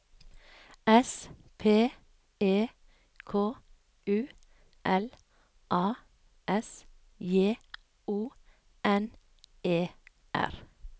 S P E K U L A S J O N E R